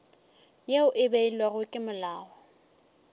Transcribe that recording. yeo e beilwego ke molao